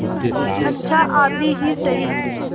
अच्छा आधी ही सही